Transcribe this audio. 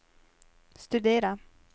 studera